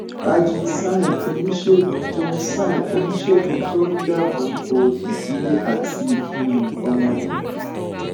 ajeet singh oníṣègùn tó singh oníṣègùn tó ń dáàbò bo ìdílé àti um ọmọdé